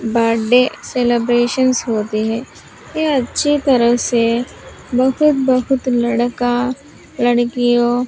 birthday celebrations होती है ये अच्छी तरह से बहुत बहुत लड़का लड़कियों --